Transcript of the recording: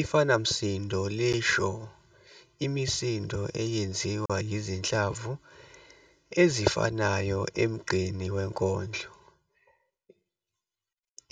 Ifanamsindo lisho imisindo eyenziwa izinhlamvu ezifanayo emgqeni wenkondlo